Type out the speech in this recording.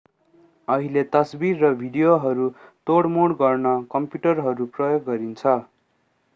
अहिले तस्बिर र भिडियोहरू तोडमोड गर्न कम्प्युटरहरू प्रयोग गरिन्छ